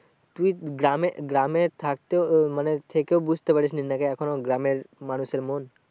তুই গ্রামে, গ্রামে থাকতে মানে থেকেও বুঝতে পারিসনি নাকি এখনো গ্রামের মানুষের মন?